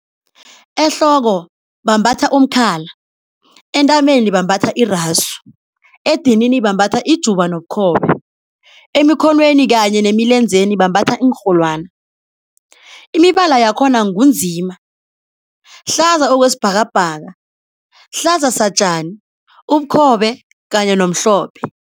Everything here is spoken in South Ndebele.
Ehloko bambatha umkhala, entameni bambatha irasu, edinini bambatha ijuba nobukhobe, emikhonweni kanye nemilenzeni bambatha iinrholwani. imibala yakhona ngunzima, hlaza okwesibhakabhaka, hlaza satjani, ubukhobe kanye nomhlophe.